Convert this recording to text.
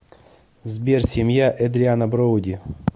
сбер семья эдриана броуди